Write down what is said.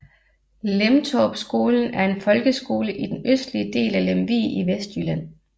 Lemtorpskolen er en folkeskole i den østlige del af Lemvig i Vestjylland